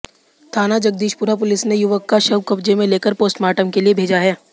थाना जगदीशपुरा पुलिस ने युवक का शव कब्जे में लेकर पोस्टमार्टम के लिए भेजा है